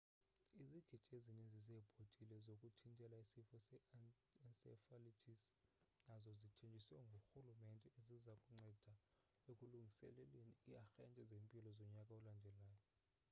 izigidi ezininzi zeebhotile zokuthintela isifo se-encephalitis nazo zithenjisiwe ngurhulumente eziza kunceda ekulungiseleleni iiarhente zempilo zonyaka olandelayo